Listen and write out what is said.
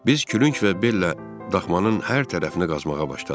Biz külüng və bellə daxmanın hər tərəfini qazmağa başladıq.